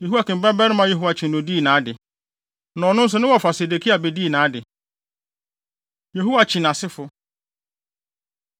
Yehoiakim babarima Yehoiakyin na odii nʼade, na ɔno nso ne wɔfa Sedekia bedii nʼade. Yehoiakyin Asefo